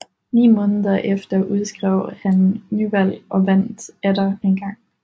Ni måneder efter udskrev han nyvalg og vandt atter engang